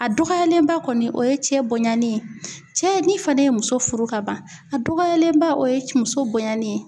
A dɔgɔyalenba kɔni ,o ye cɛ bonyani ye, cɛ ni fanɛ ye muso furu kaban, a dɔgɔyalen ba o ye muso bonyani ye.